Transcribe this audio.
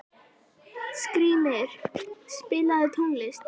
Skrýmir, spilaðu tónlist.